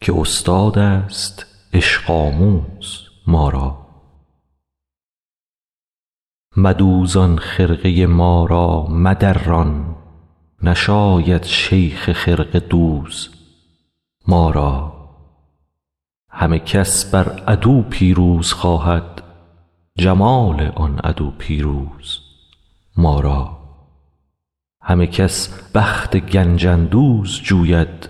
که استادست عشق آموز ما را مدوزان خرقه ما را مدران نشاید شیخ خرقه دوز ما را همه کس بر عدو پیروز خواهد جمال آن عدو پیروز ما را همه کس بخت گنج اندوز جوید